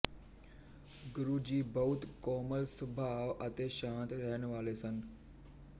ਗੁਰੂ ਜੀ ਬਹੁਤ ਕੋਮਲ ਸੁਭਾਅ ਅਤੇ ਸ਼ਾਂਤ ਰਹਿਣ ਵਾਲੇ ਸਨ